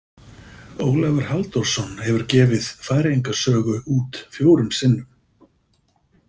Ólafur Halldórsson hefur gefið Færeyinga sögu út fjórum sinnum .